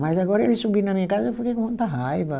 Mas agora eles subindo na minha casa, eu fiquei com muita raiva.